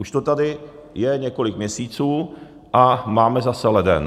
Už to tady je několik měsíců a máme zase leden.